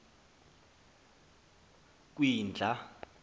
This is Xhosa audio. kwindla